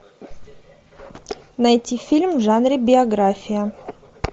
найти фильм в жанре биография